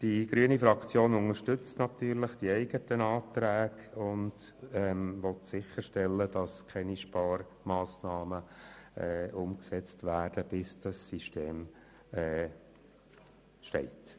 Die grüne Fraktion unterstützt natürlich die eigenen Anträge, und sie will sicherstellen, dass keine Sparmassnahmen umgesetzt werden, bis das System steht.